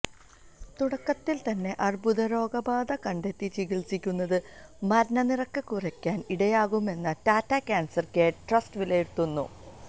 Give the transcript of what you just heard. തുടക്കത്തിൽ തന്നെ അർബുദരോഗബാധ കണ്ടെത്തി ചികിത്സിക്കുന്നത് മരണനിരക്ക് കുറയ്ക്കാൻ ഇടയാക്കുമെന്നും ടാറ്റ കാൻസർ കെയർ ട്രസ്റ്റ് വിലയിരുത്തുന്നു